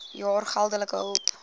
jaar geldelike hulp